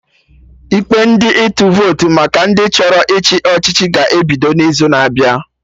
Ikpe ndị ịtụ votu maka ndị chọrọ ịchị ọchịchị ga-ebido n'izu na-abịa